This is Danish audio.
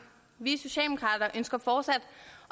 vi socialdemokrater ønsker fortsat